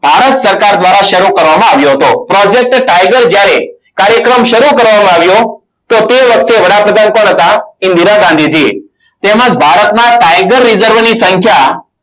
ભારત સરકાર દ્વારા શરૂ કરવામાં આવ્યો હતો. project tiger જ્યારે કાર્યક્રમ શરૂ કરવામાં આવ્યો. તો તે વખતે વડાપ્રધાન કોણ હતા. ઇન્દિરા ગાંધીજી એ તેમજ ભારતમાં tiger reserv ની સંખ્યા